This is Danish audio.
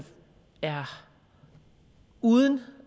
er uden